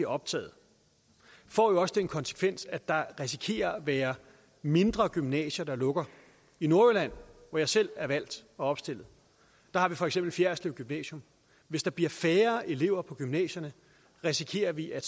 optaget får jo også den konsekvens at der risikerer at være mindre gymnasier der lukker i nordjylland hvor jeg selv er valgt og opstillet har vi for eksempel fjerritslev gymnasium hvis der bliver færre elever på gymnasierne risikerer vi at